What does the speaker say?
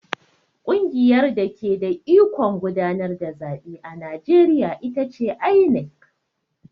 Ƙungiyar dake da ikon gudanar da zaɓe a Najeriya ita ce INEC.